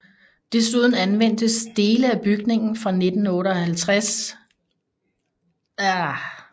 Desuden anvendtes dele af bygningen fra 1858 til 1864 til udstillingsformål af Flensborgsamlingen